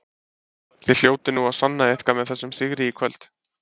Þið hljótið nú að sanna eitthvað með þessum sigri í kvöld?